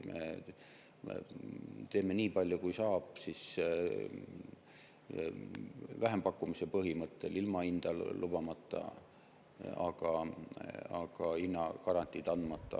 Me teeme nii palju, kui saame, vähempakkumise põhimõttel, ilma hinda lubamata, hinnagarantiid andmata.